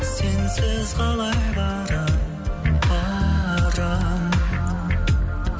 сенсіз қалай барамын барамын